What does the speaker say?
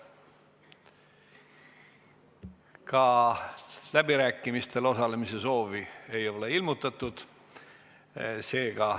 Ka läbirääkimistel osalemise soovi ei ole ilmutatud.